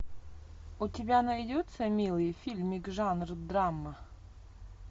у тебя найдется милый фильмик жанр драма